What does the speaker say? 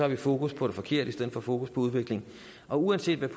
vi fokus på det forkerte i stedet for fokus på udvikling og uanset